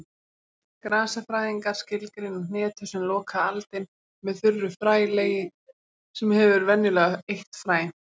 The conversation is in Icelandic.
Grasafræðingar skilgreina hnetu sem lokað aldin með þurru frælegi sem hefur venjulega eitt fræ.